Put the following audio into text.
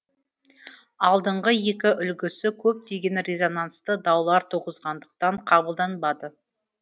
алдыңғы екі үлгісі көптеген резонансты даулар туғызғандықтан қабылданбады